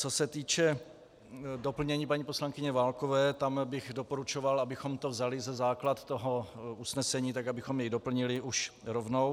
Co se týče doplnění paní poslankyně Válkové, tam bych doporučoval, abychom to vzali za základ toho usnesení tak, abychom jej doplnili už rovnou.